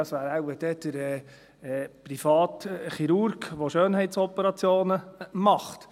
Das wäre dann wohl der private Chirurg, der Schönheitsoperationen macht.